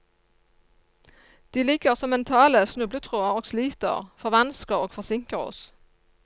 De ligger som mentale snubletråder og sliter, forvansker og forsinker oss.